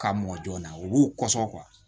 K'a mɔ joona u b'u kɔsɔn